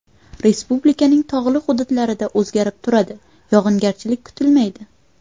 Respublikaning tog‘li hududlarida o‘zgarib turadi, yog‘ingarchilik kutilmaydi.